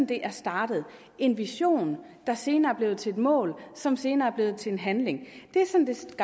det er startet en vision der senere er blevet til et mål som senere er blevet til en handling det